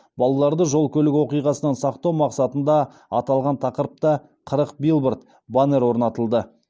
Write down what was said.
балаларды жол көлік оқиғасынан сақтау мақсатында аталған тақырыпта қырық билборд баннер орнатылды